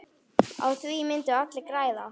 Á því myndu allir græða.